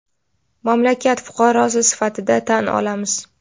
mamlakat fuqarosi sifatida tan olamiz.